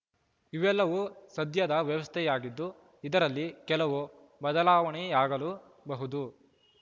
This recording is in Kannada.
ಇವೆಲ್ಲವೂ ಸದ್ಯದ ವ್ಯವಸ್ಥೆಯಾಗಿದ್ದು ಇದರಲ್ಲಿ ಕೆಲವು ಬದಲಾವಣೆಯಾಗಲೂಬಹುದು